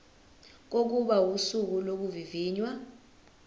kokuba usuku lokuvivinywa